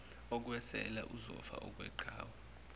okwesela uzofa okweqhawe